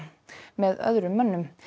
með öðrum mönnum